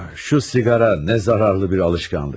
Şu siqara nə zararlı bir alışkanlık.